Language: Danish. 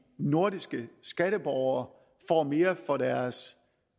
nordiske skatteborgere får mere for deres